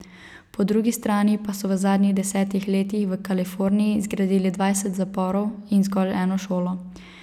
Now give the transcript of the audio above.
Po drugi strani pa so v zadnjih desetih letih v Kaliforniji zgradili dvajset zaporov in zgolj eno šolo.